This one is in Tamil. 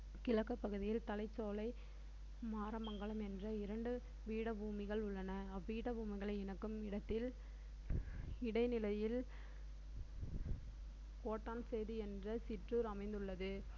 கிழக்குப் பகுதியில் தலைச்சோலை மாறமங்கலம் என்ற ﻿இரண்டு பீடபூமிகள் உள்ளன அப்பீடபூமிகளை இணைக்கும் இடத்தில் இடைநிலையில் கோட்டன்சேது என்ற சிற்றூர் அமைந்துள்ளது